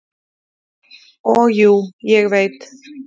"""Og jú, ég veit."""